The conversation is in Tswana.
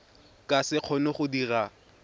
ka se kgone go dira